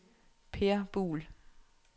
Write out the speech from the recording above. Per Buhl